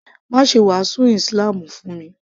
Má ṣe wàásù ísílámù fún mi